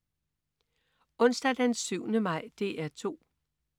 Onsdag den 7. maj - DR 2: